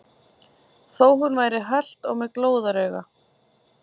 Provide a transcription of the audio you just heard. Þó hún væri hölt og með glóðarauga.